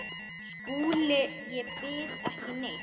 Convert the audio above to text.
SKÚLI: Ég býð ekki neitt.